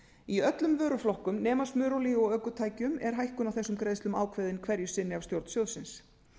í öllum vöruflokkum nema smurolíu og ökutækjum er hækkun á þessum greiðslum ákveðin hverju sinni af stjórn sjóðsins